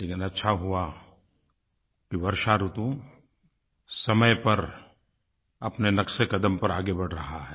लेकिन अच्छा हुआ कि वर्षा ऋतु समय पर अपने नक्शेक़दम पर आगे बढ़ रही है